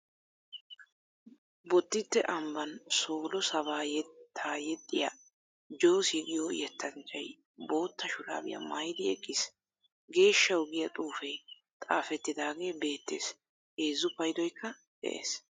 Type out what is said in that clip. Bodditte ambban soolo sabbaa yetta yexxiya jossy giyo yettanchchay bootta shuraabiya maayidi eqqiis. Geeshshaawu giya xuufee xaafettidaagee beettees. Heezzu paydoykka de"ees.